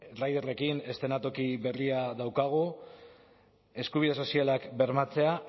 riderrekin eszenatoki berria daukagu eskubide sozialak bermatzea